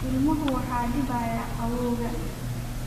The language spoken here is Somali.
Ilmuhu waxa dibayaa qawowga